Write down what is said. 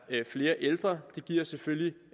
flere ældre det giver selvfølgelig